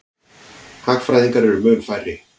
Hagfræðingar eru mun færri.